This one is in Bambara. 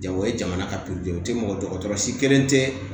Jago ye jamana ka mɔgɔkɔrɔsi kelen tɛ